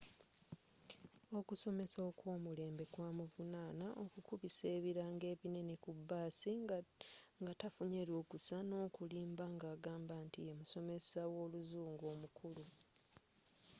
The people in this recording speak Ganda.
okusomesa okwomulembe kwamuvunana okukubisa ebirango ebinene ku baasi nga tafunye lukusa n'okulimba ng'agamba nti yemusomesa w'oluzungu omukulu